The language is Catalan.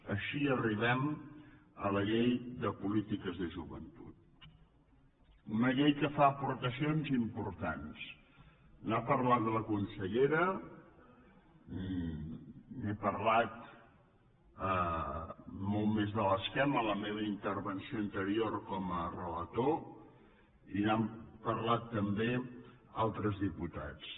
així arribem a la llei de polítiques de joventut una llei que fa aportacions importants n’ha parlat la consellera n’he parlat molt més de l’esquema en la meva intervenció anterior com a relator i n’han parlat també altres diputats